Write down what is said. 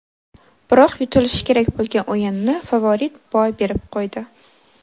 Biroq yutilishi kerak bo‘lgan o‘yinni favorit boy berib qo‘ydi.